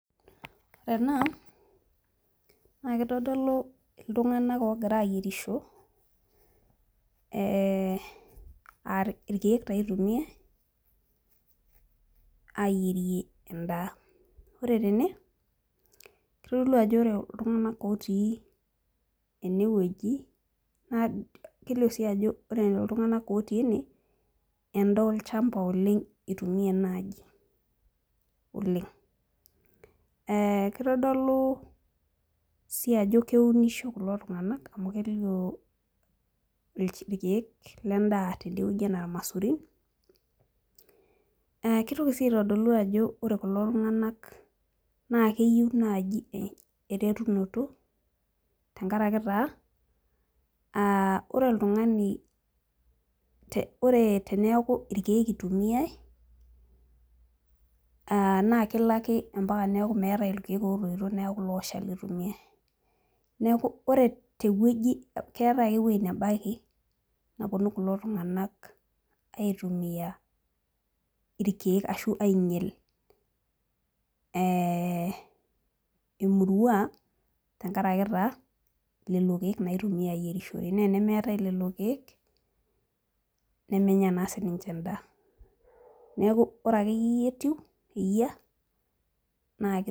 Ore ena naa kitodolu iltunganak oogira aayierisho, aa irkeek taa itumia, ayierie edaa. ore tene kitodolu, ajo ore iltunganak otii ene wueji, kelio sii ajo, ore iltunganak otii ene, edaa olchampa oleng itumia naaji. oleng.ee kitodolu sii ajo keunisho kulo tunganak. amu kelio irkeek ledaa tidie wueji anaa ilamasurin. naa itoki sii aitodolu ajo ore kulo tunganak keyieu naaji eretunoto tenkaraki taa, ore oltungani, ore teneeku irkeek itumia, naa kelo ake mpaka neeku meetae irkkek ootoito neeku ilooshali itumiae. keetae ake ewueji nebaiki mepuonu kulo tunganak aitumia. irkeek ashu aingial. emurua, tenkaraki taa lelo keek itumia aayierisho. naa tenemeetae lelo keek. nemenya naa sii ninche edaa. ore akeyie eyia naa.